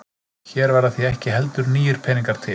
Hér verða því ekki heldur nýir peningar til.